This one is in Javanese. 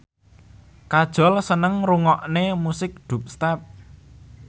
Kajol seneng ngrungokne musik dubstep